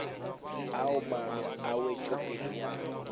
ao maano a wetšopele ya